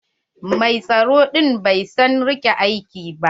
Mai tsaro ɗin bai sa rigar aiki ba.